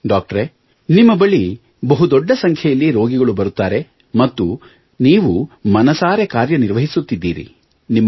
ವೈದ್ಯರೇ ನಿಮ್ಮ ಬಳಿ ಬಹು ದೊಡ್ಡ ಸಂಖ್ಯೆಯಲ್ಲಿ ರೋಗಿಗಳು ಬರುತ್ತಾರೆ ಮತ್ತು ನೀವು ಮನಸಾರೆ ಕಾರ್ಯ ನಿರ್ವಹಿಸುತ್ತಿದ್ದೀರಿ